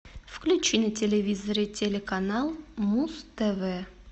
включи на телевизоре телеканал муз тв